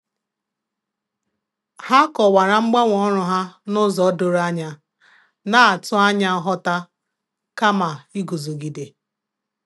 Ha kọwara mgbanwe ọrụ ha n'ụzọ doro anya, na-atụ anya nghọta kama iguzogide.